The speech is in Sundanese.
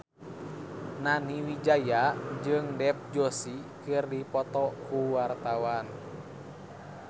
Nani Wijaya jeung Dev Joshi keur dipoto ku wartawan